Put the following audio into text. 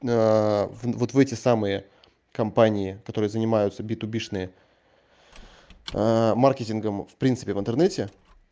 вот в эти самые компании которые занимаются битубишные маркетингом в принципе в интернете